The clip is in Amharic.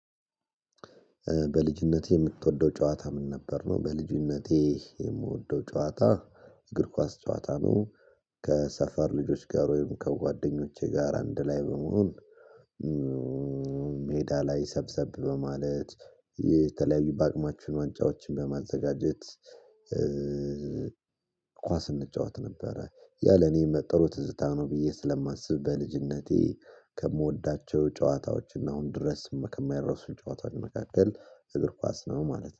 በልጅነትህ የምትወደው ጨዋታ ምን ነበር? ነው በልጅነቴ የምወደው ጨዋታ እግር ኳስ ጨዋታ ነው። ከሰፈር ልጆች ጋር ወይም ከጓደኞቼ ጋር አንድ ላይ በመሆን ሜዳ ላይ ሰብሰብ በማለት የተለያዩ በአቅማችን ዋንጫዎችን በማዘጋጀት ኳስ እንጫወት ነበረ። ያለ እኔ ጥሩ ትዝታ ነው ብዬ ስለማስብ በልጅነቴ ከምወዳቸው ጨዋታዎች እና አሁን ድረስ ከማይረሱኝ ጨዋታዎች እግር ኳስ ነው። ማለት ነው